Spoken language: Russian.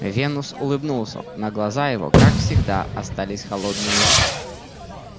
венус улыбнулся но глаза его как всегда остались холодными